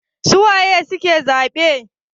su waye suke zabe?